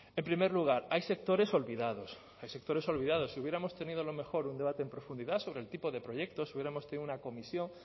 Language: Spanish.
en primer lugar hay sectores olvidados hay sectores olvidados si hubiéramos tenido a lo mejor un debate en profundidad sobre el tipo de proyectos hubiéramos tenido una comisión